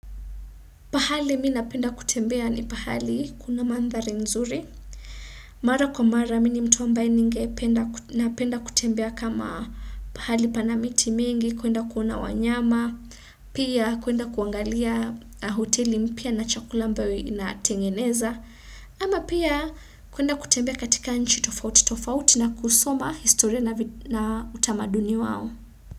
Pahali mimi napenda kutembea ni pahali kuna mandhari nzuri. Mara kwa mara mini mtu ambaye napenda kutembea kama pahali pana miti mingi, kuenda kuona wanyama, pia kuenda kuangalia hoteli mpya na chakula ambao inatengeneza. Ama pia kuenda kutembea katika nchi tofauti tofauti na kusoma historia na utamaduni wao.